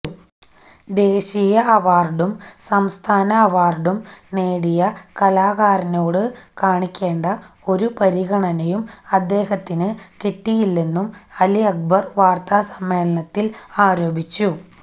ദേശീയ അവാര്ഡും സംസ്ഥാന അവാര്ഡും നേടിയ കലാകാരനോട് കാണിക്കേണ്ട ഒരു പരിഗണനയും അദ്ദേഹത്തിന് കിട്ടിയില്ലെന്നും അലി അക്ബര് വാര്ത്താസമ്മേളനത്തില് ആരോപിച്ചു